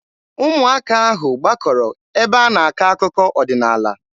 Ụmụaka ahụ gbakọrọ ebe a na-akọ akụkọ ọdịnaala.